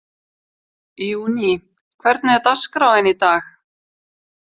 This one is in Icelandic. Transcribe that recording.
Júní, hvernig er dagskráin í dag?